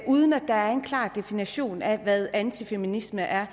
uden at der er en klar definition af hvad antifeminisme er